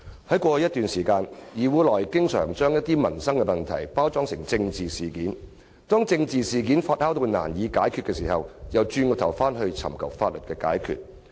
在過去一段時間，部分議員經常把一些民生問題包裝成政治事件，當政治事件發酵至難以收拾時，又轉而尋求法律方式解決。